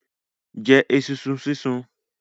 Jẹ esunsun sísun.